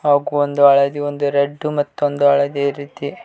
ಹಾಗು ಒಂದು ಹಳದಿ ಒಂದು ರೆಡ್ಡು ಮತ್ತೊಂದು ಹಳದಿ ರೀತಿ--